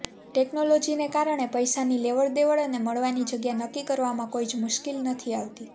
ટેક્નોલોજીને કારણે પૈસાની લેવડ દેવળ અને મળવાની જગ્યા નક્કી કરવામાં કોઈ જ મુશ્કિલ નથી આવતી